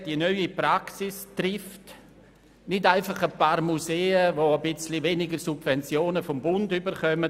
Die neue Praxis trifft nicht einfach ein paar Museen, die etwas weniger Subventionen vom Bund erhalten.